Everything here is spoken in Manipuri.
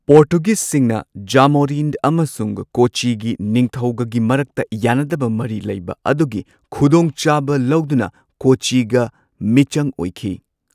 ꯄꯣꯔꯇꯨꯒꯤꯁꯁꯤꯡꯅ ꯖꯥꯃꯣꯔꯤꯟ ꯑꯃꯁꯨꯡ ꯀꯣꯆꯤꯒꯤ ꯅꯤꯡꯊꯧꯒꯒꯤ ꯃꯔꯛꯇ ꯌꯥꯅꯗꯕ ꯃꯔꯤ ꯂꯩꯕ ꯑꯗꯨꯒꯤ ꯈꯨꯗꯣꯡꯆꯥꯕ ꯂꯧꯗꯨꯅ ꯀꯣꯆꯤꯒ ꯃꯤꯆꯪ ꯑꯣꯏꯈꯤ꯫